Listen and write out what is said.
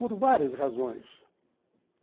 Por várias razões.